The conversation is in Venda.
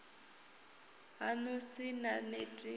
haṋu ni sa neti na